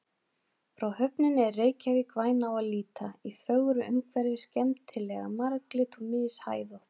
Frá höfninni er Reykjavík væn á að líta, í fögru umhverfi, skemmtilega marglit og mishæðótt.